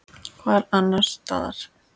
Hvar annars staðar?